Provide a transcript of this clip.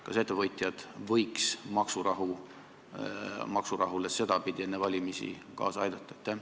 Kas ettevõtjad võiksid maksurahule enne valimisi sedapidi kaasa aidata?